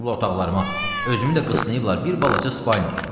qırıb otaqlarıma, özümü də qısayıblar bir balaca spalniya.